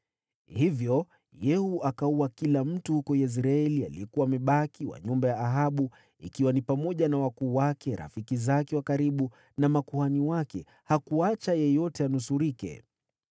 Hivyo Yehu akaua kila mtu huko Yezreeli aliyekuwa amebaki wa nyumba ya Ahabu, ikiwa ni pamoja na wakuu wake, rafiki zake wa karibu, na makuhani wake. Hakuacha yeyote anusurike.